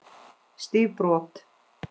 Stíf brot.